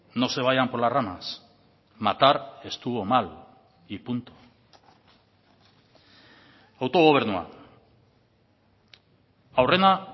no se vayan por las ramas matar estuvo mal y punto autogobernua aurrena